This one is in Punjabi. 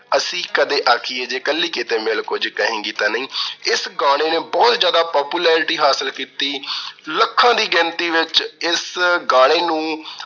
ਅਸੀਂ ਕਦੇ ਆਖੀਏ ਜੇ ਕੱਲੀ ਕਿਤੇ ਮਿਲ, ਕੁਝ ਕਹੇਗੀ ਤਾਂ ਨਈਂ। ਇਸ ਗਾਣੇ ਨੇ ਬਹੁਤ ਜਿਆਦਾ popularity ਹਾਸਲ ਕੀਤੀ। ਲੱਖਾਂ ਦੀ ਗਿਣਤੀ ਵਿੱਚ ਇਸ ਗਾਣੇ ਨੂੰ